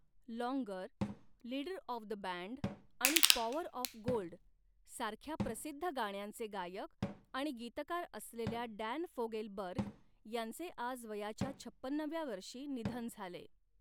Longer', 'leader of the band' आणि 'power of gold' सारख्या प्रसिद्ध गाण्यांचे गायक आणि गीतकार असलेल्या डॅन फोगेलबर्ग यांचे आज वयाच्या छपन्नाव्या वर्षी निधन झाले.